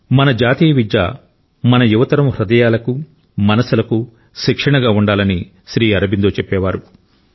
మన జాతీయ విద్య మన యువతరం హృదయాలకు మనసులకు శిక్షణగా ఉండాలని శ్రీ అరబిందో చెప్పేవారు